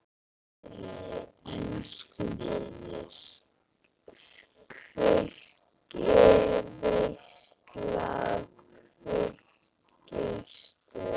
Þvílík veisla, þvílíkt stuð.